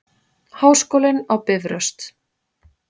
Háskólinn á Bifröst.